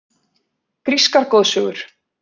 Grískar goðsögur.